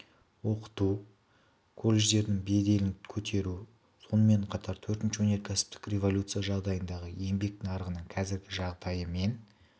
оқыту колледждердің беделін көтеру сонымен қатар төртінші өнеркәсіптік революция жағдайындағы еңбек нарығының қазіргі жағдайы мен